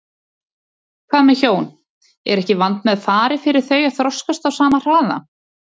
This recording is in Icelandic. Hvað með hjón, er ekki vandmeðfarið fyrir þau að þroskast á sama hraða?